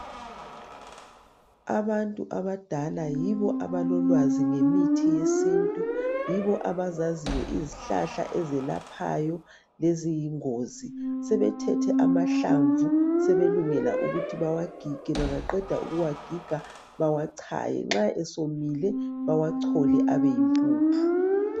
Abantu abadala yibo abaziyo ngemithi yesintu, yibo abazaziyo izihlahla ezelaphayo leziyingozi. Sebethethe amahlamvu sebelungela ukuthi bawagige, bengaqeda ukuwagiga bewachaye, nxa sewomile bawachole abe yimpuphu